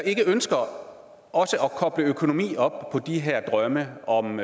ikke ønsker at koble økonomi op på de her drømme om